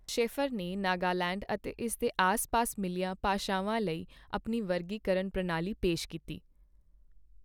Shafer ਨੇ ਨਾਗਾਲੈਂਡ ਅਤੇ ਇਸ ਦੇ ਆਸ ਪਾਸ ਮਿਲੀਆਂ ਭਾਸ਼ਾਵਾਂ ਲਈ ਆਪਣੀ ਵਰਗੀਕਰਨ ਪ੍ਰਣਾਲੀ ਪੇਸ਼ ਕੀਤੀ।